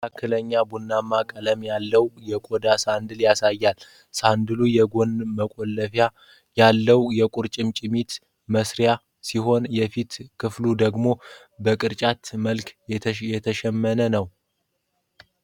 መካከለኛ ቡናማ ቀለም ያለው የቆዳ ሳንዳልን ያሳያል። ሳንዳሉ የጎን መቆለፊያ ያለው የቁርጭምጭሚት ማሰሪያ ሲኖረው፣ የፊት ክፍሉ ደግሞ በቅርጫት መልክ የተሸመነ ነው?